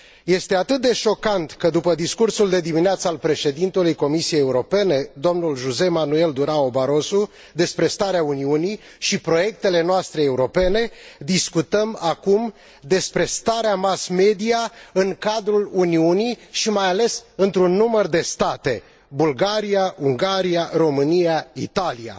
Este atât de șocant că, după discursul de dimineață al Președintelui Comisiei Europene, domnul Jose Manuel Durao Barroso, despre starea Uniunii și proiectele noastre europene, discutăm acum despre starea mass media în cadrul Uniunii și mai ales într un număr de state Bulgaria, Ungaria, România, Italia.